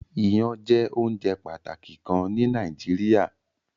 Ìyan jẹ ounjẹ pataki kan ni Nàìjíríà